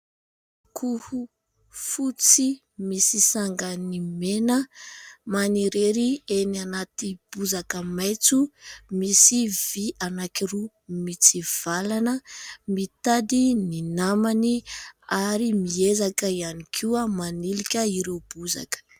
Akoho fotsy misy sangany mena, manirery eny anaty bozaka maitso, misy vy anankiroa mitsivalana, mitady ny namany ary miezaka ihany koa manilika ireo bozaka.